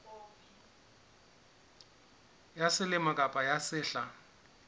ya selemo kapa ya sehla